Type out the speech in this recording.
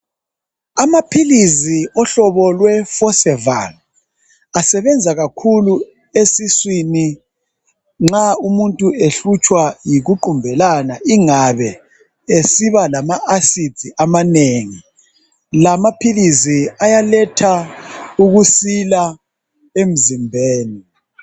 Amaphilizi ohlobo lwesi forceval asebenza kakhulu esiswini nxa umuntu ehlutshwa yikuqumbelana ingabe esiba lama acids amanengi la maphilisi ayaletha ukusila emzimbeni